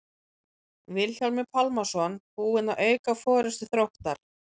Vilhjálmur Pálmason búinn að auka forystu Þróttar.